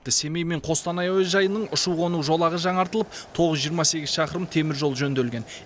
семей мен қостанай әуежайының ұшу қону жолағы жаңартылып тоғыз жүз жиырма сегіз шақырым теміржол жөнделген